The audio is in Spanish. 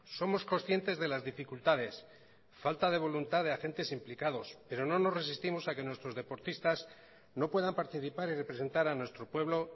somos conscientes de las dificultades falta de voluntad de agentes implicados pero no nos resistimos a que nuestros deportistas no puedan participar y representar a nuestro pueblo